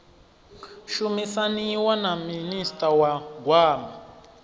shumisaniwa na minista wa gwama